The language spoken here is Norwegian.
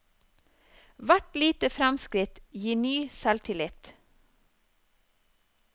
Hvert lite fremskritt gir ny selvtillit.